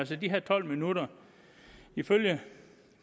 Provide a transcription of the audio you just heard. til de her tolv minutter ifølge